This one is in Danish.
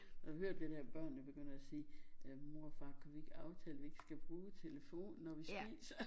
Har du hørt det der børnene begynder at sige øh mor og far kan vi ikke aftale vi ikke skal bruge telefonen når vi spiser